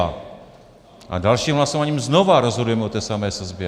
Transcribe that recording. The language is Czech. A dalším hlasováním znova rozhodujeme o té samé sazbě.